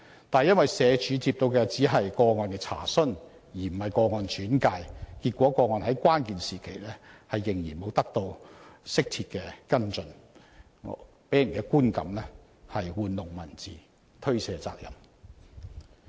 但社署解釋，因接獲的只是個案"查詢"而非個案"轉介"，結果個案在關鍵時期仍然沒有得到適切跟進，予人觀感是社署玩弄文字，推卸責任。